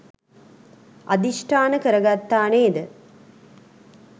අධිෂ්ඨාන කරගත්තා නේද?